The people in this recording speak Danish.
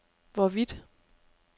hvorvidt